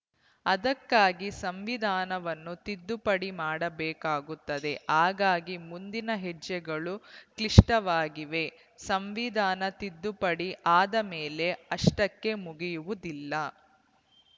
ಅದಕ್ಕಾಗಿ ಸಂವಿಧಾನವನ್ನು ತಿದ್ದುಪಡಿ ಮಾಡಬೇಕಾಗುತ್ತದೆ ಹಾಗಾಗಿ ಮುಂದಿನ ಹೆಜ್ಜೆಗಳು ಕ್ಲಿಷ್ಟವಾಗಿವೆ ಸಂವಿಧಾನ ತಿದ್ದುಪಡಿ ಆದಮೇಲೆ ಅಷ್ಟಕ್ಕೇ ಮುಗಿಯುವುದಿಲ್ಲ